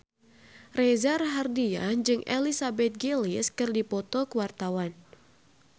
Reza Rahardian jeung Elizabeth Gillies keur dipoto ku wartawan